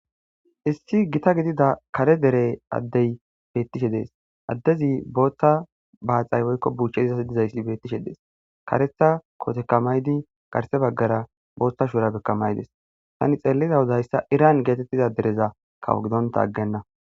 issi gita gidida kare dere addey bettishe dees addezi booththa baaxay woykko buuchche izas dizayssi bettishe dees karetha kootekamaydi garse baggara boothta shuura bekkamaydes tani xeelliza huzayssa iran geetettiza dereza kawo gidonta aggenna